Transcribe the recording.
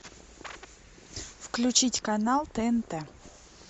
включить канал тнт